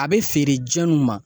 A be feere jɔnniw ma ?